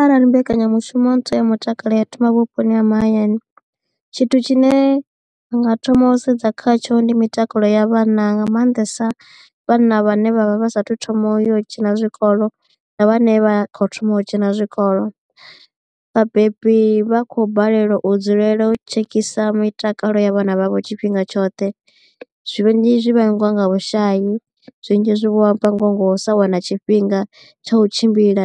Arali mbekanyamushumo ntswa ya mutakalo ya thoma vhuponi ha mahayani tshithu tshine ndanga thoma u sedza khatsho ndi mitakalo ya vhana nga maanḓesa vhana vhane vha vha vha sathu thoma u ya u dzhena zwikolo na vhane vha kho thoma u dzhena zwikolo. Vhabebi vha khou balelwa u dzulela u tshekisa mitakalo ya vhana vhavho tshifhinga tshoṱhe zwinzhi zwi vhangiwa nga vhushayi zwinzhi zwi vhangiwa ngo sa wana tshifhinga tsha u tshimbila